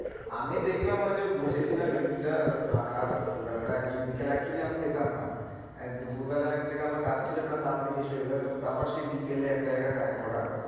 আমি দেখলাম ওই যে বসেছিলাম সেই দিনটা ফাঁকা দুপুরবেলাটা actually বিকালে actually আমি যেতাম না দুপুরবেলা এক জায়গায় আমার কাজ ছিল তাড়াতাড়ি শেষ হয়ে যায় তো আবার সেই বিকালে একটা জায়গায় দেখা করার,